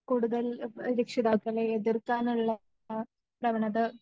കൂടുതൽ എബ് രക്ഷിതാക്കളെ എതിർക്കാനുള്ള പ്രവണത